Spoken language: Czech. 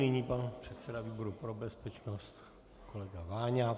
Nyní pan předseda výboru pro bezpečnost kolega Váňa.